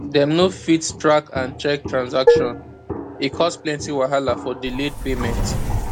dem no fit track and check transaction e cause plenty wahala for delayed payment